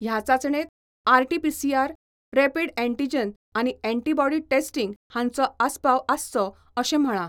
ह्या चाचणेत RTPCR, rapid antigen आनी ऍन्टीबॉडी टेस्टिंग हांचो आस्पाव आसचो अशें म्हळा.